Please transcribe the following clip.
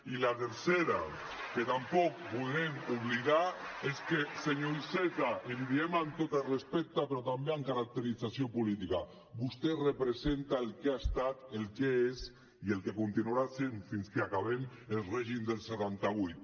i la tercera que tampoc volem oblidar és que senyor iceta i li diem amb tot el respecte però també amb caracterització política vostè representa el que ha estat el que és i el que continuarà sent fins que acabem el règim del setanta vuit